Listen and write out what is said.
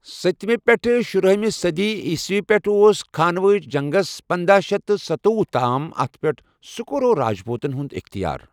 ستہِ مہِ پٮ۪ٹھٕ شُراہمہِ صٔدی عیسوی پٮ۪ٹھٕ اوس خانواہٕچ جنٛگَس پنداہ شیتھ تہٕ سَتوۄہُ تام اَتھ پٮ۪ٹھ سکورور راجپوتَن ہُنٛد اِختیار۔